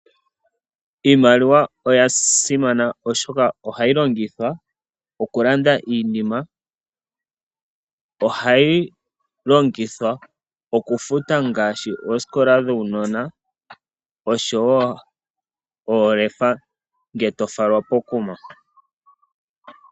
Iimaliwa oyasimana oshoka ohayi longithwa okulanda iinima, ohayi longithwa okufuta ngaashi oosikola dhuunona osho wo oolefa ngele tofalwa po ku ma.